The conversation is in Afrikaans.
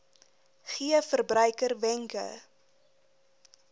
gee verbruikers wenke